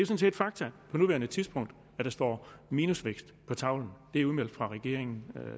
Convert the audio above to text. set fakta på nuværende tidspunkt at der står minusvækst på tavlen det er udmeldt af regeringen